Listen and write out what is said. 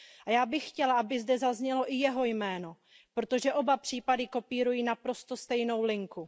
Já bych chtěla, aby zde zaznělo i jeho jméno, protože oba případy kopírují naprosto stejnou linku.